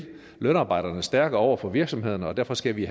lønarbejdere stærkere over for virksomhederne og derfor skal vi